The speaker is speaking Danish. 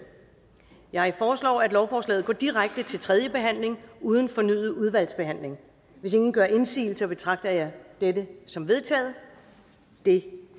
jeg foreslår at lovforslaget går direkte til tredje behandling uden fornyet udvalgsbehandling hvis ingen gør indsigelse betragter jeg dette som vedtaget det